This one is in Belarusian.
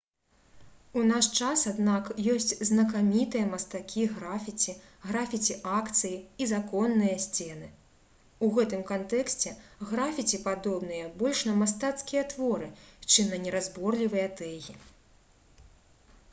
у наш час аднак ёсць знакамітыя мастакі графіці графіці-акцыі і «законныя» сцены. у гэтым кантэксце графіці падобныя больш на мастацкія творы чым на неразборлівыя тэгі